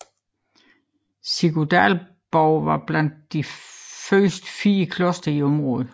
Siguldaborgen var blandt de første fire klostre i området